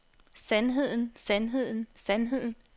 sandheden sandheden sandheden